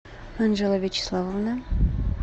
анджела вячеславовна